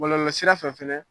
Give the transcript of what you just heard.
Bɔlɔlɔsira fɛ fɛnɛ